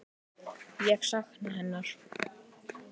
Ég sakna hennar.